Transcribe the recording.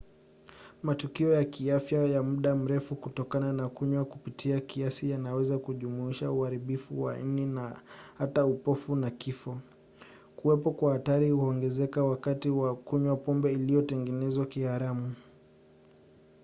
matukio ya kiafya ya muda mrefu kutokana na kunywa kupita kiasi yanaweza kujumuisha uharibifu wa ini na hata upofu na kifo. kuwepo kwa hatari huongezeka wakati wa kunywa pombe iliyotengenezwa kiharamu